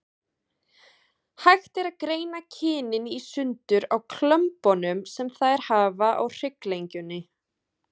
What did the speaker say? Hægt er að greina kynin í sundur á kömbunum sem þær hafa á hrygglengjunni.